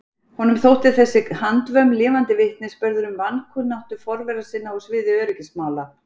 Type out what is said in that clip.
Honum þótti þessi handvömm lifandi vitnisburður um vankunnáttu forvera sinna á sviði öryggismála.